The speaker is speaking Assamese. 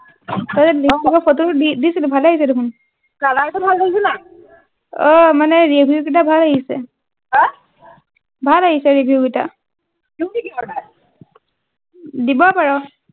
দিছিলি ভালেই আহিছে দেখোন color টো ভাল লাগিছে নাই অ মানে review গিতা ভাল আহিছে আহ ভাল আহিছে review গিতা দিউ নেকি order দিব পাৰ